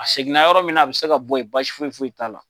A seginna yɔrɔ min na a bɛ se ka bɔ yen basi foyi foyi t'a la.